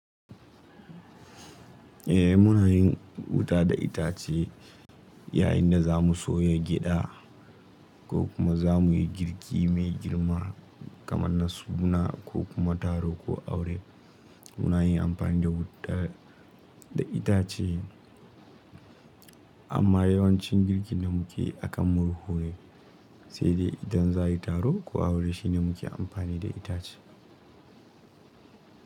Eh muna yin wuta da itace yayin da za mu soya gyaɗa ko kuma za mu yi girki mai girma kamar na suna ko kuma taro ko aure. Muna yin amfani da wuta da itace amma yawancin girkin da muke yi akan murhu ne sai dai idan za a yi taro ko aure shine muke amfani da itace.